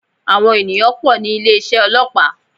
Àwọn ènìyàn pò ní ilé isé ọlọ́pàá